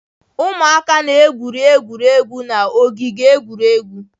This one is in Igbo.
Ụmụaka na-egwuri egwu n'ogige egwuregwu.